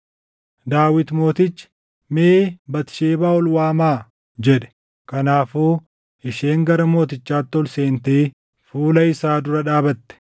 Daawit mootichi, “Mee Batisheebaa ol waamaa” jedhe. Kanaafuu isheen gara mootichaatti ol seentee fuula isaa dura dhaabatte.